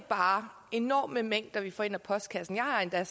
bare enorme mængder vi får i postkassen jeg har endda